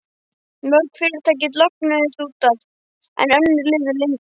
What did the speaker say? Mörg fyrirtækin lognuðust út af, en önnur lifðu lengur.